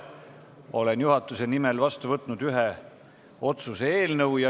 Olen juhatuse nimel vastu võtnud ühe otsuse eelnõu.